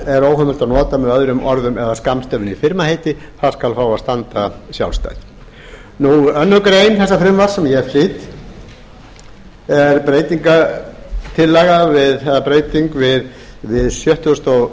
er heimilt að nota með öðrum orðum eða skammstöfun í firmaheiti það skal fá að standa sjálfstætt annarrar greinar þessa frumvarps sem ég flyt er breyting við sjötugasta og